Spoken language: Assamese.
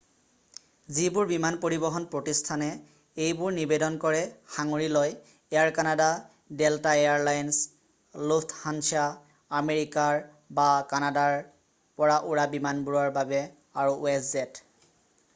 যিবোৰ বিমান পৰিবহন প্ৰতিষ্ঠানে এইবোৰ নিবেদন কৰে সাঙুৰি লয় air canada delta air lines lufthansa America বা কানাডাৰ পৰা উৰা বিমানবোৰৰ বাবে আৰু westjet